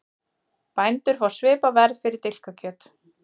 Bændur fá svipað verð fyrir dilkakjöt